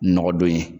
Nɔgɔ don ye